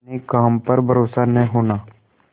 अपने काम पर भरोसा न होना